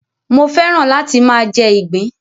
Mo fẹ́ràn láti máa jẹ ìgbín.